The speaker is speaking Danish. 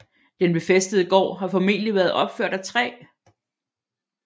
Den befæstede gård har formentligt været opført af træ